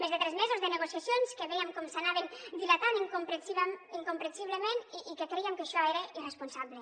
més de tres mesos de negociacions que vèiem com s’anaven dilatant incomprensiblement i que crèiem que això era irresponsable